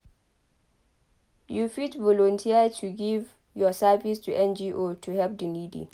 You fit volunteer to give your service to NGO to help the needy